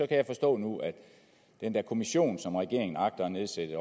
jeg forstå nu at den her kommission som regeringen agter at nedsætte